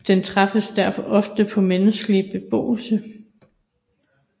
Den træffes derfor ofte tæt på menneskelig beboelse